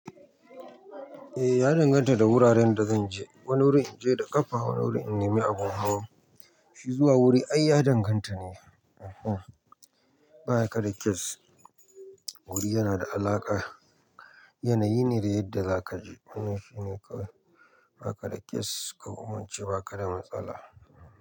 Eh ya danganta da wuraren da zan je. Wani wuri in je da ƙafa, wani wuri in nemi abun hawo. Shi zuwa wuri ai ya danganta ne. Bayaka da case, wuri yana da alaƙa. Yanayi ne da yadda zaka je. Wannan shine ka, baka da case, ko kuma in ce ba ka da matsala.